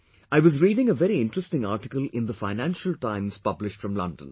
I was reading a very interesting article in the Financial Times published from London